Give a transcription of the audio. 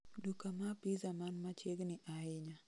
Duka ma pizza man machiegni ahinya